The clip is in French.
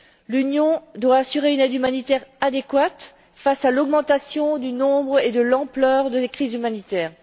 L'Union doit assurer une aide humanitaire adéquate face à l'augmentation du nombre et de l'ampleur des crises humanitaires.